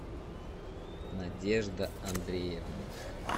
надежда андреевна